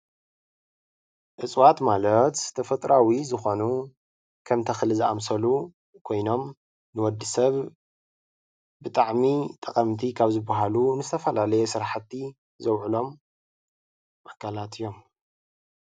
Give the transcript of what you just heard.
እፅዋት ማለት ተፈጥራዊ ዝኾኑ ከም ተኽሊ ዝኣምሰሉ ኮይኖም ንወዲ ሰብ ብጣዕሚ ጠቐምቲ ካብ ዝባሃሉ ንዝተፈላለዩ ስራሕቲ ዘውዕሎም ኣካላት እዮም።